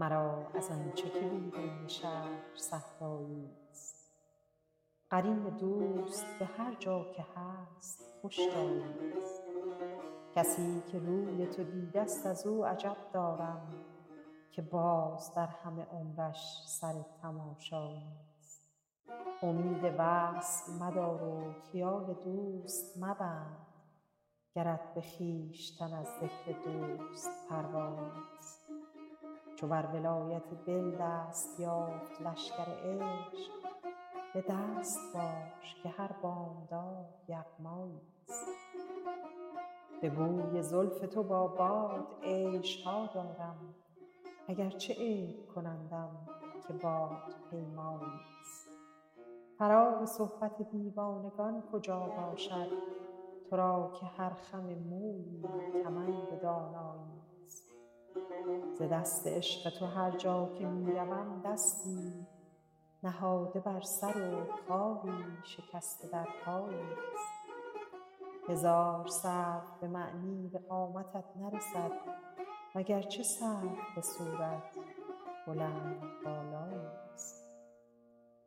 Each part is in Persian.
مرا از آن چه که بیرون شهر صحرایی ست قرین دوست به هرجا که هست خوش جایی ست کسی که روی تو دیده ست از او عجب دارم که باز در همه عمرش سر تماشایی ست امید وصل مدار و خیال دوست مبند گرت به خویشتن از ذکر دوست پروایی ست چو بر ولایت دل دست یافت لشکر عشق به دست باش که هر بامداد یغمایی ست به بوی زلف تو با باد عیش ها دارم اگرچه عیب کنندم که بادپیمایی ست فراغ صحبت دیوانگان کجا باشد تو را که هر خم مویی کمند دانایی ست ز دست عشق تو هرجا که می روم دستی نهاده بر سر و خاری شکسته در پایی ست هزار سرو به معنی به قامتت نرسد وگرچه سرو به صورت بلندبالایی ست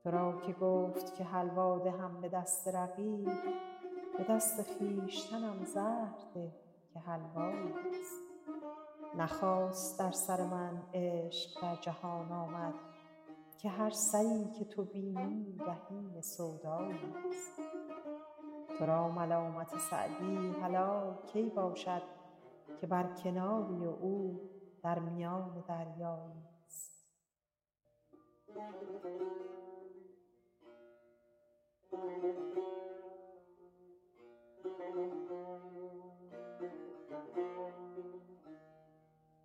تو را که گفت که حلوا دهم به دست رقیب به دست خویشتنم زهر ده که حلوایی ست نه خاص در سر من عشق در جهان آمد که هر سری که تو بینی رهین سودایی ست تو را ملامت سعدی حلال کی باشد که بر کناری و او در میان دریایی ست